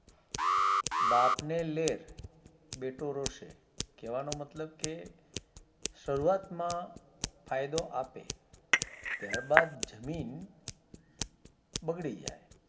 બાપ ને લેર બેટો રોશે કેવાણો મતલબ કે શરૂઆત માં ફાયદો આપે ત્યાર બાદ જમીન બગડી જાય